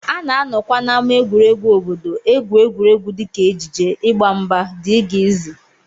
A na-anọkwa n'ámá egwuregwu obodo egwu egwuregwu dịka ejije, ịgba mgba, dgz